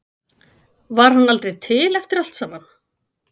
Var hann aldrei til eftir allt saman?